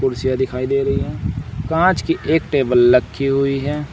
कुर्सियाँ दिखाई दे रही हैं कांच की एक टेबल रखी हुई हैं।